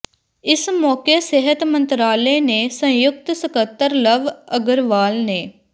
ਇਸ ਮੌਕੇ ਸਿਹਤ ਮੰਤਰਾਲੇ ਨੇ ਸੰਯੁਕਤ ਸਕੱਤਰ ਲਵ ਅਗਰਵਾਲ ਨੇ